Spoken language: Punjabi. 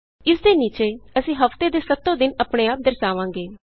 ਇਸਦੇ ਨੀਚੇ ਅਸੀਂ ਹਫ਼ਤੇ ਦੇ ਸੱਤੋ ਦਿਨ ਆਪਣੇ ਆਪ ਦਰਸਾਵਾਂਗੇ